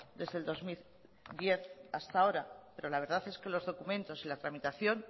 desde el dos mil diez hasta ahora pero la verdad es que los documentos y la tramitación